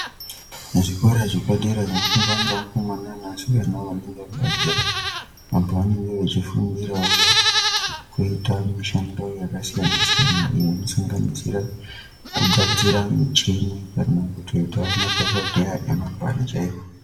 Muzvikora zvepadera zvinofundwa ngevakomana nevasikana vanonga vabva zera, vantu vanenge veifundirawo kuita mishando yakasiyana-siyana ,iyo inosanganisira, kugadzira michini kana kuti, kutoitawo madhokodheya nemabandle.